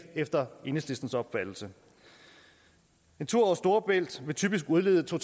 efter enhedslistens opfattelse en tur over storebælt vil typisk udlede to